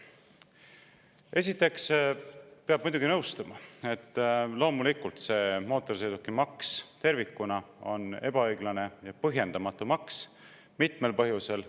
Esiteks peab muidugi nõustuma, et loomulikult see mootorsõidukimaks tervikuna on ebaõiglane ja põhjendamatu maks mitmel põhjusel.